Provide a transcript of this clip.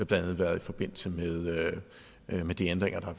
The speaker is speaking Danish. blandt andet været i forbindelse med de ændringer der er